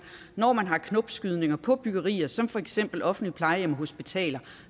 når man har knopskydninger på byggerier som for eksempel offentlige plejehjem og hospitaler